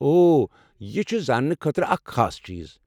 اوہ! یہ چھ زانٛنہٕ خٲطرٕ اکھ خاص چیٖز۔